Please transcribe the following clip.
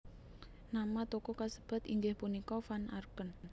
Nama toko kasebat inggih punika Van Arken